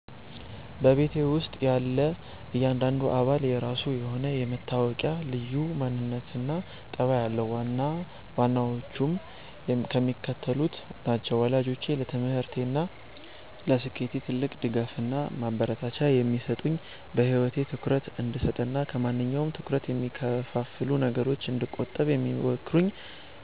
በቤተሰቤ ውስጥ ያለ እያንዳንዱ አባል የራሱ የሆነ የሚታወቅበት ልዩ ማንነትና ጠባይ አለው፤ ዋና ዋናዎቹም የሚከተሉት ናቸው፦ ወላጆቼ፦ ለትምህርቴና ለስኬቴ ትልቅ ድጋፍና ማበረታቻ የሚሰጡኝ፣ በህይወቴ ትኩረት እንድሰጥና ከማንኛውም ትኩረት ከሚከፋፍሉ ነገሮች እንድቆጠብ የሚመክሩኝ